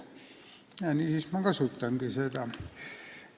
Nii ma kasutangi seda võimalust.